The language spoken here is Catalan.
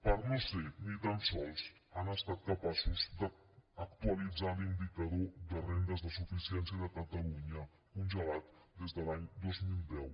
per no ser ni tan sols han estat capaços d’actualitzar l’indicador de rendes de suficiència de catalunya congelat des de l’any dos mil deu